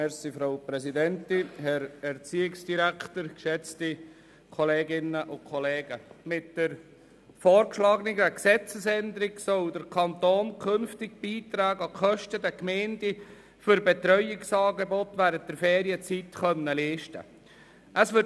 Mit der vorgeschlagenen Gesetzesänderung soll der Kanton künftig Beiträge an die Kosten der Gemeinden für Betreuungsangebote während der Ferienzeit leisten können.